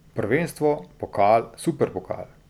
Prvenstvo, pokal, superpokal ...